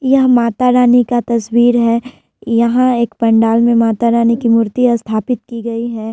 यह माता रानी का तस्वीर है यहाँ एक पंडाल में माता रानी की मूर्ति स्थापित की गयी है।